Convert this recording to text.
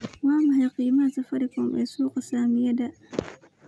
waa maxay qiimaha safaricom ee suuqa saamiyada